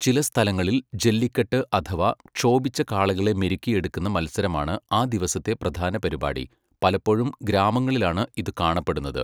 ചില സ്ഥലങ്ങളിൽ ജല്ലിക്കെട്ട് അഥവാ ക്ഷോഭിച്ച കാളകളെ മെരുക്കിയെടുക്കുന്ന മത്സരമാണ് ആ ദിവസത്തെ പ്രധാന പരുപാടി. പലപ്പോഴും ഗ്രാമങ്ങളിലാണ് ഇത് കാണപ്പെടുന്നത്.